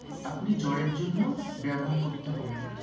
আপনি জ্বর এর জন্য ব্যবহার করতে পারেন